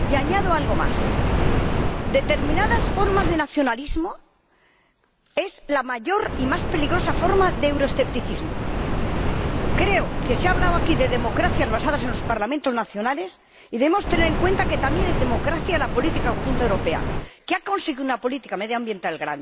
Y añado algo más determinadas formas de nacionalismo son la mayor y más peligrosa forma de euroescepticismo. Creo que se ha hablado aquí de democracias basadas en los Parlamentos nacionales y debemos tener en cuenta que también es democracia la política conjunta europea que ha conseguido una gran política medioambiental.